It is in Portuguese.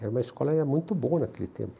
Era uma escola muito boa naquele tempo.